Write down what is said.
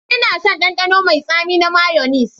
Ina son ɗanɗano mai tsami na mayonnaise.